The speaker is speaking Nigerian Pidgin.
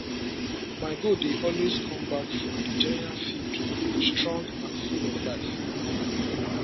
my goat dey always come back from the general field strong and full of life